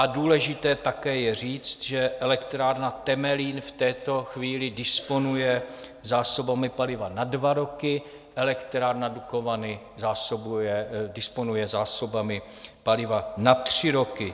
A důležité také je říct, že elektrárna Temelín v této chvíli disponuje zásobami paliva na dva roky, elektrárna Dukovany disponuje zásobami paliva na tři roky.